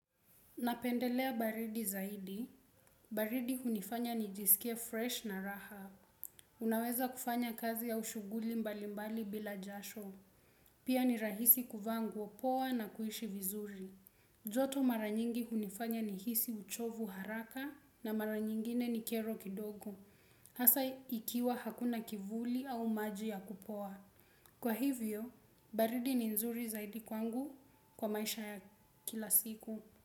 Napendelea baridi zaidi. Baridi hunifanya nijisikie fresh na raha. Unaweza kufanya kazi au shughuli mbalimbali bila jasho. Pia ni rahisi kuvaa nguo poa na kuishi vizuri. Joto mara nyingi hunifanya nihisi uchovu haraka na mara nyingine ni kero kidogo. Hasa ikiwa hakuna kivuli au maji ya kupoa. Kwa hivyo, baridi ni nzuri zaidi kwangu kwa maisha ya kila siku.